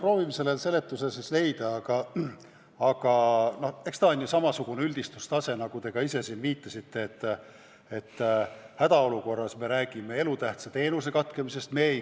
Proovime selle seletuse siis leida, aga eks tegu ole samasuguse üldistusega, nagu te siin viitasite, et hädaolukorras me räägime elutähtsa teenuse katkemisest.